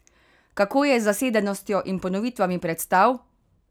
Kako je z zasedenostjo in ponovitvami predstav?